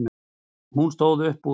Hún stóð upp úr.